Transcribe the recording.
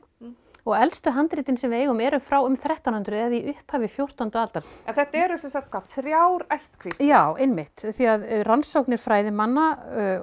og elstu handritin sem við eigum eru frá um þrettán hundruð eða upphafi fjórtándu aldar þetta eru sem sagt þrjár ættkvíslir já einmitt því að rannsóknir fræðimanna